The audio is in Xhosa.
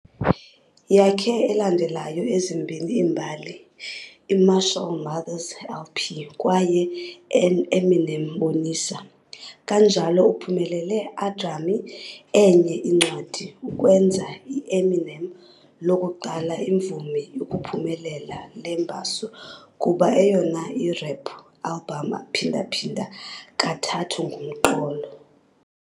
Yakhe elandelayo ezimbini iimbali, I-Marshall Mathers LP kwaye Eminem Bonisa, kanjalo uphumelele aGrammy enye incwadi, ukwenza Eminem lokuqala imvumi ukuphumelela le mbasa kuba eyona i-rap album phinda-phinda kathathu ngumqolo.